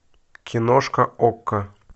киношка окко